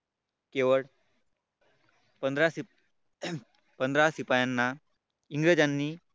केवळ पंधरा पंधरा शिपायांना इंग्रजांनी